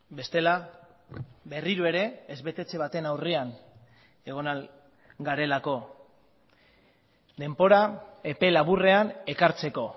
bestela berriro ere ez betetze baten aurrean egon ahal garelako denbora epe laburrean ekartzeko